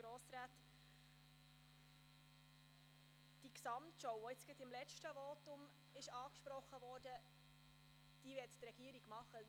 Die Gesamtschau, die im letzten Votum angesprochen wurde, möchte die Regierung vornehmen.